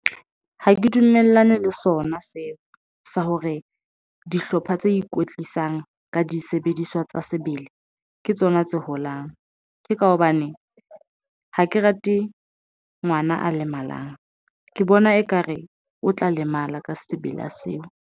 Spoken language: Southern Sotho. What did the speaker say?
Ha ke dumellane le sona seo sa hore dihlopha tse ikwetlisang ka disebediswa tsa sebele ke tsona tse holang. Ke ka hobane ha ke rate ngwana a lemalang ke bona, ekare o tla lemala ka sebele seo.